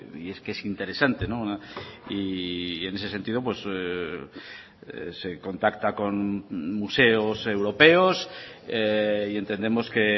y es que es interesante y en ese sentido se contacta con museos europeos y entendemos que